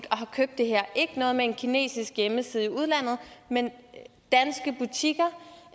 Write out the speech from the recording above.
og har købt det ikke noget med en kinesisk hjemmeside udlandet men